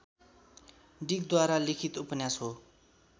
डिकद्वारा लिखित उपन्यास हो